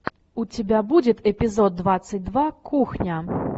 у тебя будет эпизод двадцать два кухня